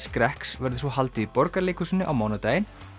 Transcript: skrekks verður svo haldið í Borgarleikhúsinu á mánudaginn